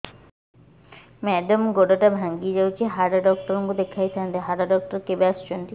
madam ଗୋଡ ଟା ଭାଙ୍ଗି ଯାଇଛି ହାଡ ଡକ୍ଟର ଙ୍କୁ ଦେଖାଇ ଥାଆନ୍ତି ହାଡ ଡକ୍ଟର କେବେ ଆସୁଛନ୍ତି